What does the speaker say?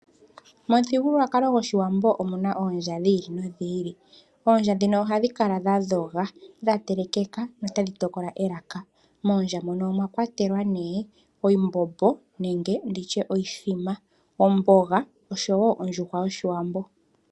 Momuthigululwakalo gwoshiwambo omu na oondja dhiili nodhiili, oondja dhino ohadhi kala dhadhoga, dha telekekeka, notadhi tokola elaka moondja muno omwakwatelwa nee oshimbombo, omboga oshowo ondjuhwa yoshiwambo.